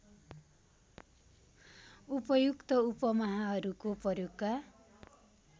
उपयुक्त उपमाहरूको प्रयोगका